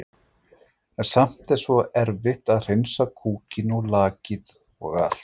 En samt er svo erfitt að hreinsa kúkinn og lakið og allt.